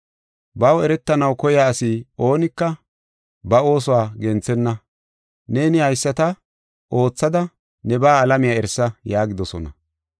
Baw eretanaw koya asi oonika ba oosuwa genthenna. Neeni haysata oothada nebaa alamiya erisa” yaagidosona.